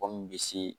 Kɔ min bɛ se